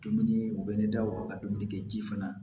Dumuni u bɛ ne da waga ka dumuni kɛ ji fana